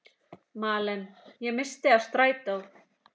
Malen: Ég missti af strætó.